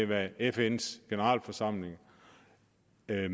hvad fns generalforsamling